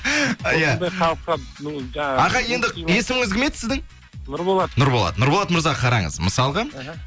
осындай халыққа бұл жаңағы аға енді есіміңіз кім еді сіздің нұрболат нұрболат нұрболат мырза қараңыз мысалға аха